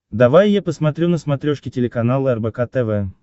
давай я посмотрю на смотрешке телеканал рбк тв